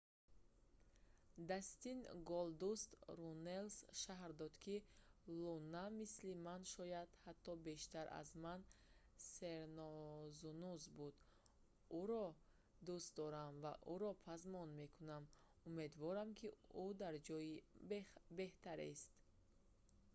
дастин голдуст руннелс шарҳ дод ки луна мисли ман...шояд ҳатто бештар аз ман сернозунуз буд...ӯро дӯст дорам ва ӯро пазмон мекунам...умедворам ки ӯ дар ҷои беҳтарест